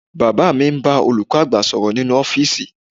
Bàbá mi ń bá olùkọ́ àgbà sọ̀rọ̀ nínú ọ́fíìsì